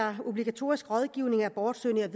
om at obligatorisk rådgivning af abortsøgende